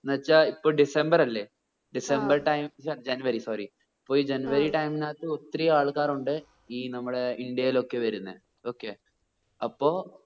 എന്ന് വെച്ച ഇപ്പൊ ഡിസംബെർ അല്ലെ ഡിസംബർ time വെച്ച ആ ജനുവരി sorry ഇപ്പൊ ജനുവരി time നാത്ത് ഒത്തിരി ആൾക്കാർ ഉണ്ട് ഈ നമ്മടെ ഇന്ത്യയിൽ ഒക്കെ വരുന്നേ okay